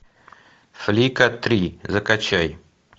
флика три закачай